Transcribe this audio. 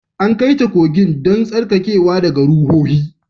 An kai ta kogin don tsarkakewa daga ruhohi